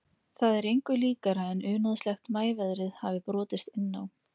Það er engu líkara en unaðslegt maíveðrið hafi brotist inn á